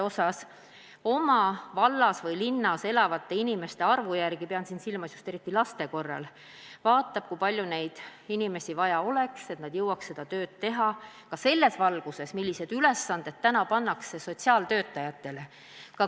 See oleneb vallas või linnas elavate inimeste arvust ja omavalitsus arvutab, eriti just lapsi silmas pidades, kui palju neid inimesi vaja oleks, et nad jõuaks oma tööd teha, täita kõiki sotsiaaltöötajatele pandud ülesandeid.